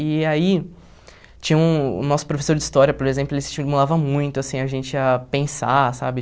E aí, tinha um... O nosso professor de história, por exemplo, ele se estimulava muito, assim, a gente a pensar, sabe?